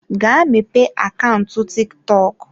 Gaa mepee akaụntụ TikTok.